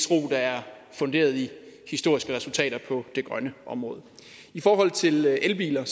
ro der er funderet i historiske resultater på det grønne område i forhold til elbiler